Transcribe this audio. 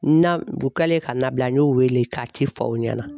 Na u kɛlen ka nabila n y'o wele k'a ci fɔ aw ɲɛna.